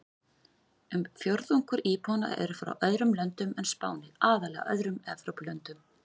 Um fjórðungur íbúanna eru frá öðrum löndum en Spáni, aðallega öðrum Evrópulöndum.